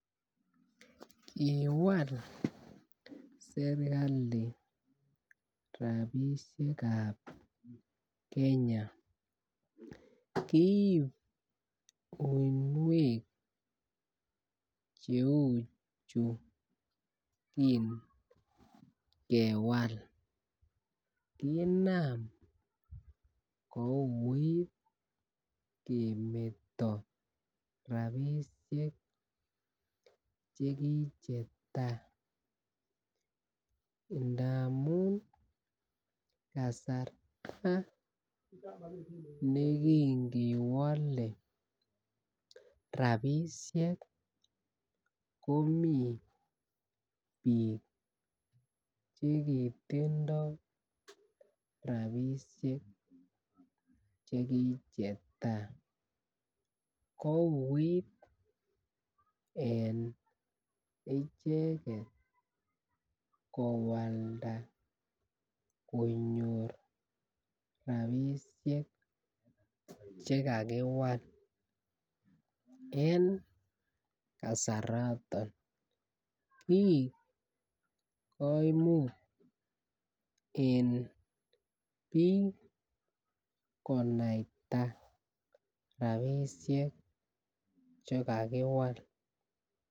Kowal sirkali rabishekab Kenya kiib uinwek cheu chuu ki kewal kinam kouit kemeto rabishek chekichetai ndamun kasarta nekikewole rabishek komii bik chekitindo rabishek chekichetai kouit en icheket kowalda konyor rabishek chekakiwal en kasaraton koik kiik koimut en bik konaita rabishek chekakiwal.